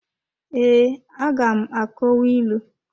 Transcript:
Ee, aga m akọwa ịlụ.